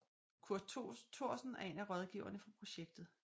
Kurt Thorsen er en af rådgiverne for projektet